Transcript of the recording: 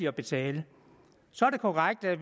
at betale så er det korrekt at